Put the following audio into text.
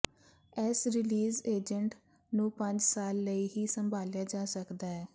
ਇਸ release agent ਨੂੰ ਪੰਜ ਸਾਲ ਲਈ ਹੀ ਸੰਭਾਲਿਆ ਜਾ ਸਕਦਾ ਹੈ